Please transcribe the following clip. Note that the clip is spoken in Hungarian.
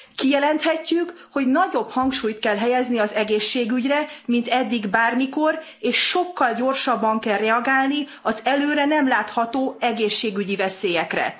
Kijelenthetjük, hogy nagyobb hangsúlyt kell helyezni az egészségügyre, mint eddig bármikor, és sokkal gyorsabban kell reagálni az előre nem látható egészségügyi veszélyekre.